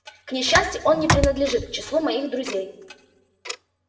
к несчастью он не принадлежит к числу моих друзей